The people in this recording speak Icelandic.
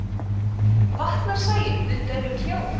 vaknar sæunn við dauflegt hljóð